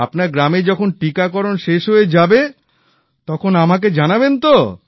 আপনার গ্রামে যখন টিকাকরণ শেষ হয়ে যাবে তখন আমাকে জানাবেন তো